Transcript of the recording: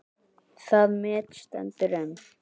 Það met stendur enn.